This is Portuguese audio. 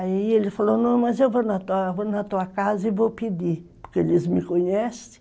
Aí ele falou, mas eu vou na tua casa e vou pedir, porque eles me conhecem.